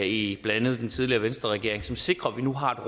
i blandt andet den tidligere venstreregering som sikrer at vi nu har